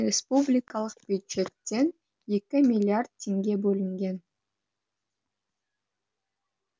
республикалық бюджеттен екі миллиард теңге бөлінген